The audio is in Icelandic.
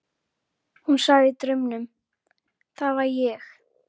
Hún sagði í draumnum: Það var ég.